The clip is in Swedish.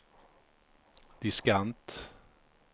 diskant